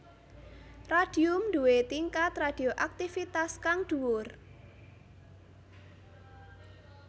Radium duwé tingkat radioaktivitas kang dhuwur